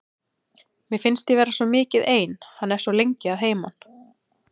Mér finnst ég vera svo mikið ein, hann er svo lengi að heiman.